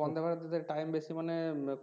Vande, Bharat এ time বেশি মানে